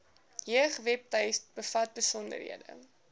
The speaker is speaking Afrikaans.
jeugwebtuiste bevat besonderhede